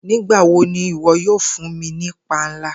Nigbawo ni iwọ yoo fun mi ni panla?